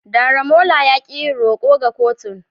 Daramola ya ki yin roko ga kotun.